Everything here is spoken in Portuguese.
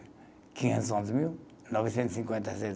Quinhentos e onze mil? Novecentos cinquenta e seis